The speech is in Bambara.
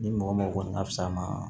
Ni mɔgɔ mɔgɔ kɔni ka fisa ma